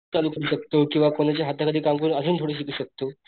चालू करू शकतो किंवा कोणाच्या हाताखाली काम करून आजून थोडं शिकू शकतो.